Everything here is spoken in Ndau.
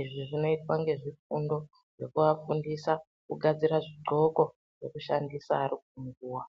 izvi zvinoitwa ngezvifundo zvekuafundisa kugadzira zvidxoko zvekushandisa ari kunguwa.